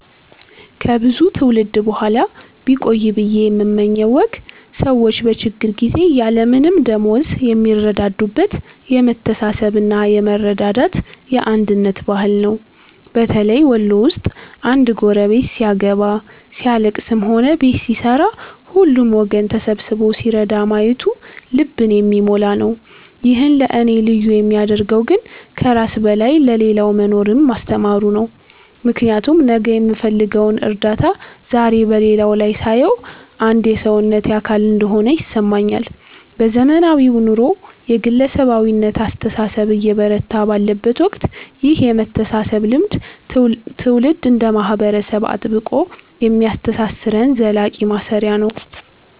ከብዙ ትውልድ በኋላ ቢቆይ ብየ የምመኘው ወግ ሰዎች በችግር ጊዜ ያለምንም ደመወዝ የሚረዳዱበት የመተሳሰብና የመረዳዳት፣ የአንድነት ባህል ነው። በተለይ ወሎ ውስጥ አንድ ጎረቤት ሲያገባ፣ ሲያልለቅስም ሆነ ቤት ሲሠራ ሁሉም ወገን ተሰብስቦ ሲረዳ ማየቱ ልብን የሚሞላ ነው። ይህን ለእኔ ልዩ የሚያደርገው ግን ከራስ በላይ ለሌላው መኖርን ማስተማሩ ነው፤ ምክንያቱም ነገ የምፈልገውን እርዳታ ዛሬ በሌላው ላይ ሳየው አንድ የሰውነቴ አካል እንደሆነ ይሰማኛል። በዘመናዊው ኑሮ የግለሰባዊነት አስተሳሰብ እየበረታ ባለበት ወቅት ይህ የመተሳሰብ ልምድ ትውልድ እንደ ማህበረሰብ አጥብቆ የሚያስተሳስረን ዘላቂ ማሰሪያ ነው።